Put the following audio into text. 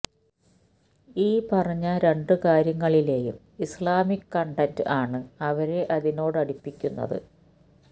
ഈ പറഞ്ഞ രണ്ടു കാര്യങ്ങളിലേയും ഇസ്ലാമിക് കണ്ടന്റ് ആണ് അവരെ അതിനോടടുപ്പിക്കുന്നത്